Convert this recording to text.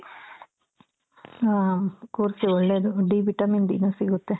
ಹ ಕೂರ್ಸಿ ಒಳ್ಳೇದು D vitamin D ನೂ ಸಿಗುತ್ತೆ.